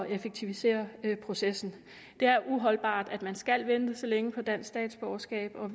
effektivisere processen det er uholdbart at man skal vente så længe på dansk statsborgerskab og